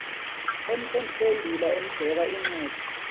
emuphenduphendula embheka inxeba